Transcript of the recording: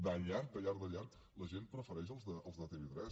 de llarg de llarg de llarg la gent prefereix els de tv3